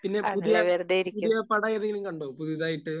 പിന്നെ പുതിയ...പുതിയ പടം ഏതെങ്കിലും കണ്ടോ പുതിയതായിട്ട്?